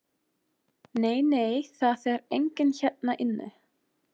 Nei, nei, það er enginn hérna inni.